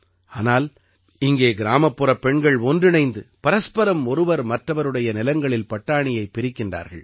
ஆனால் இங்கே கிராமப்புறப் பெண்கள் ஒன்றிணைந்து பரஸ்பரம் ஒருவர் மற்றவருடைய நிலங்களில் பட்டாணியைப் பிரிக்கிறார்கள்